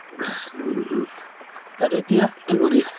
উম । আৰু এতিয়া কি কৰি আছা?